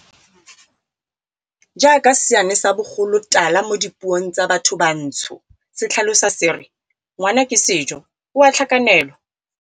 Jaaka seane sa bogolotala mo dipuong tsa bathobantsho se tlhalosa se re "ngwana ke sejo, o a tlhakanelwa".